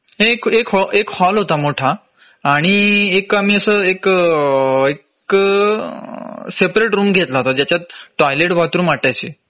एक एक एक हॉल होता मोठा आणि एक आम्ही असं एक एक सेपरेट रूम घेतला होता ज्याच्यात टॉयलेट बाथरूम अटॅचे